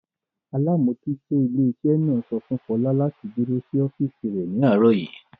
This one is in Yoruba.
Alámójútó ilé iṣẹ́ náà sọ fún Fọlá láti dúró sí ọ́físì ní àárọ̀ yìí